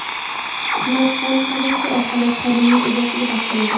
Smartfon politsiya orqali qonuniy egasiga topshirildi.